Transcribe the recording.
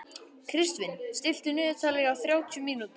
Kristvin, stilltu niðurteljara á þrjátíu mínútur.